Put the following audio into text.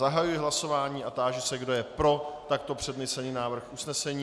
Zahajuji hlasování a táži se, kdo je pro takto přednesený návrh usnesení.